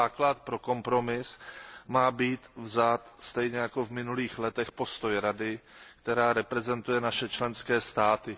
Za základ pro kompromis má být vzat stejně jako v minulých letech postoj Rady, která reprezentuje naše členské státy.